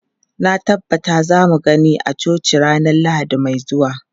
Na tabbata za mu gani a coci ranar Lahadi mai zuwa.